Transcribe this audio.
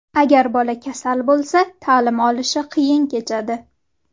Agar bola kasal bo‘lsa, ta’lim olishi qiyin kechadi.